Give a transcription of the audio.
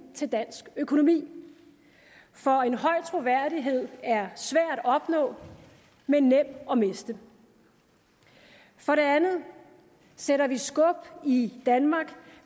til dansk økonomi for en høj troværdighed er svær at opnå men nem at miste for det andet sætter vi skub i danmark